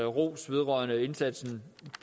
ros vedrørende indsatsen